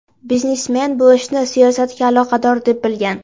Biznesmen bu ishni siyosatga aloqador deb bilgan.